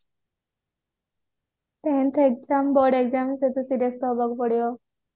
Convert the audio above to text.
ହଁ exam board exam serious ତ ହେବାକୁ ପଡିବ